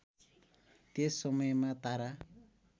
त्यस समयमा तारा